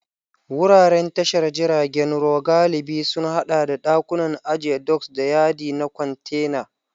Wuraren tashar jiragen ruwa galibi sun haɗa da ɗakunan ajiya doks, da yadi na kwantena.